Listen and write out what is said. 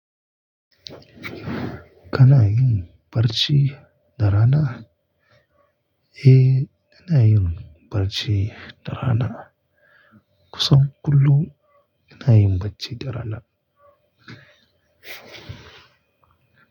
Kana yin barci dara na? E, ina yin barci dara na. Kusan kullum ina yin bacci dara na.